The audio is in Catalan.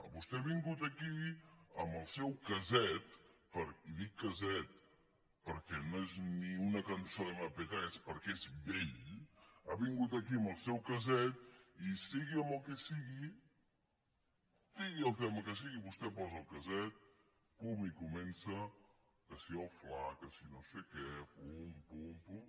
vostè ha vingut aquí amb el seu casset i dic casset perquè no és ni una cançó d’mp3 perquè és vell ha vingut aquí amb el seu casset i sigui amb el que sigui sigui el tema que sigui vostè posa el casset pum i comença que si el fla que si no sé què pum pum pum